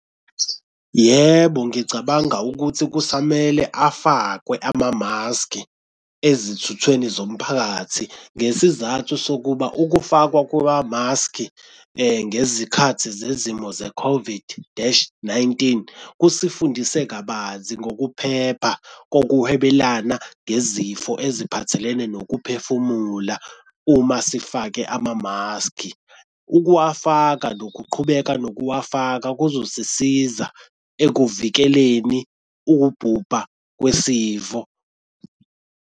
Yebo, ngicabanga ukuthi kusamele afakwe amamaskhi ezithweni zomphakathi ngesizathu sokuba ukufakwa kwamamaskhi ngezikhathi zezimo ze-COVID dash nineteen kusifundise kabanzi ngokuphepha kokuhwebelana ngezifo eziphathelene nokuphefumula uma sifake amamaskhi, ukuwafaka nokuqhubeka nokuwufaka kuzosisiza ekuvikeleni ukubhubha kwesifo.